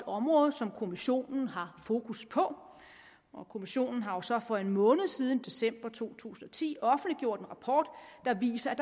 område som kommissionen har fokus på og kommissionen har jo så for en måned siden december to tusind og ti offentliggjort en rapport der viser at